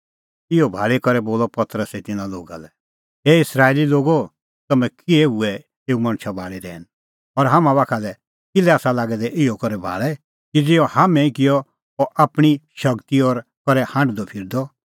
इहअ भाल़ी करै बोलअ पतरसै तिन्नां लोगा लै हे इस्राएली लोगो तम्हैं किल्है हुऐ एऊ मणछा भाल़ी रहैन और हाम्हां बाखा लै किल्है आसा लागै दै इहअ करै भाल़ै कि ज़िहअ हाम्हैं ई किअ अह आपणीं शगती और करै हांढदअ फिरदअ